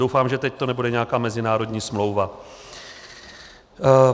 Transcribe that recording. Doufám, že teď to nebude nějaká mezinárodní smlouva.